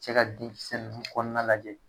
Cɛ ka denkisɛ nunnu kɔnɔna lajɛ.